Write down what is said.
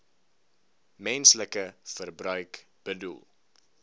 menslike verbruik bedoel